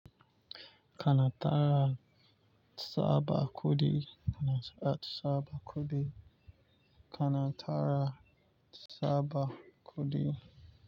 Kana tara tsaba kuɗi, kana tsaba kuɗi, kana tara tsaba kuɗi.